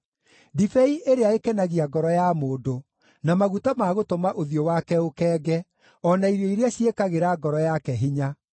ndibei ĩrĩa ĩkenagia ngoro ya mũndũ na maguta ma gũtũma ũthiũ wake ũkenge, o na irio iria ciĩkagĩra ngoro yake hinya.